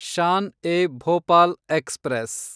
Shan e Bhopal express